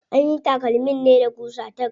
Anyi takalmin ne da ƙusa tack.